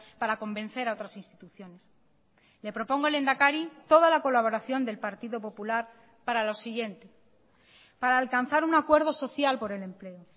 para convencer a otras instituciones le propongo lehendakari toda la colaboración del partido popular para lo siguiente para alcanzar un acuerdo social por el empleo